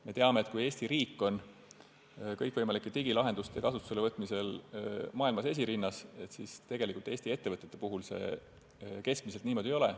Me teame, et Eesti riik on kõikvõimalike digilahenduste kasutuselevõtmisel maailmas esirinnas, kuid Eesti ettevõtete puhul see tegelikult keskmiselt niimoodi ei ole.